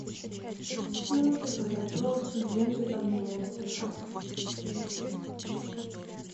мультик по запросу генри обнимонстр